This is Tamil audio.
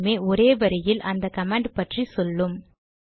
இரண்டுமே ஒரே வரியில் அந்த கமாண்ட் பற்றி சொல்லும்